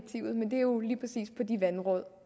er jo lige præcis med de vandråd